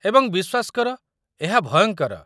ଏବଂ ବିଶ୍ୱାସ କର, ଏହା ଭୟଙ୍କର।